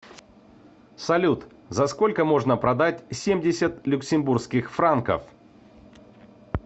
салют за сколько можно продать семьдесят люксембургских франков